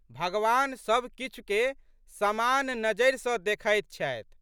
भगवान सब किछुके समान नज़रि सँ देखैत छथि।